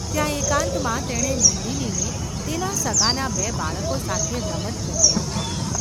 ત્યાં એકાંતમાં તેણે નંદિનીને તેનાં સગાંનાં બે બાળકો સાથે રમત કરતી નિહાળી.